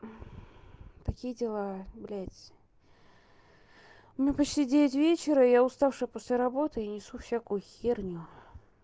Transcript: такие дела блядь ну почти девять вечера я уставшая после работы и несу всякую херню